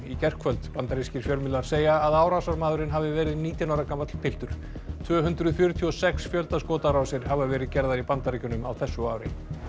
gærkvöld bandarískir fjölmiðlar segja að árásarmaðurinn hafi verið nítján ára gamall piltur tvö hundruð fjörtíu og sex fjöldaskotárásir hafa verið gerðar í Bandaríkjunum á þessu ári